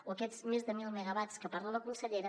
o aquests més de mil megawatts que parla la consellera